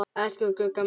Elsku Gugga mín.